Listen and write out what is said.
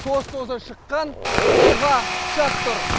тоз тозы шыққан құлауға шақ тұр